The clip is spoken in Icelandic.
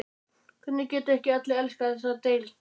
Hvernig geta ekki allir elskað þessa deild?